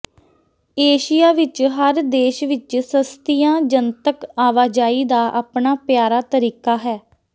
Asia ਵਿੱਚ ਹਰ ਦੇਸ਼ ਵਿੱਚ ਸਸਤੀਆਂ ਜਨਤਕ ਆਵਾਜਾਈ ਦਾ ਆਪਣਾ ਪਿਆਰਾ ਤਰੀਕਾ ਹੈ